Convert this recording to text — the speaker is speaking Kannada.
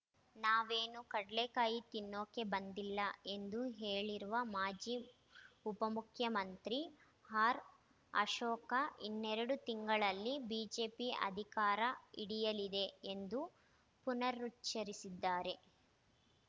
ನಾವೇನೂ ಕಡ್ಲೇಕಾಯಿ ತಿನ್ನೋಕೆ ಬಂದಿಲ್ಲ ಎಂದು ಹೇಳಿರುವ ಮಾಜಿ ಉಪಮುಖ್ಯಮಂತ್ರಿ ಆರ್‌ಅಶೋಕ ಇನ್ನೆರಡು ತಿಂಗಳಲ್ಲಿ ಬಿಜೆಪಿ ಅಧಿಕಾರ ಹಿಡಿಯಲಿದೆ ಎಂದು ಪುನರುಚ್ಚರಿಸಿದ್ದಾರೆ